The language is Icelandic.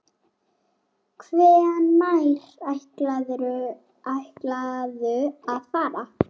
Hvenær ætlarðu að fara?